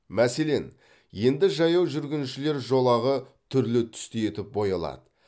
мәселен енді жаяу жүргіншілер жолағы түрлі түсті етіп боялады